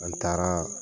An taara